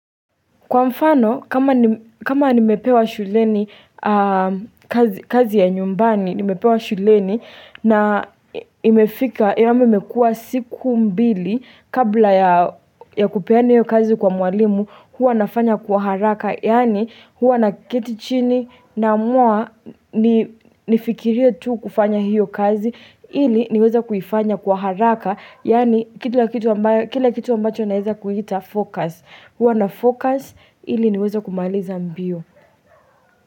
Kwa mfano, kama nimepewa shuleni kazi ya nyumbani, nimepewa shuleni na imefika yame imekua siku mbili kabla ya kupeana hiyo kazi kwa mwalimu, hua nafanya kwa haraka. Yaani huwa naketi chini naamua nifikirie tu kufanya hiyo kazi ili niweze kuifanya kwa haraka Yaani kila kitu ambacho naeza kuita focus Huwa nafocus ili niweze kumaliza mbio.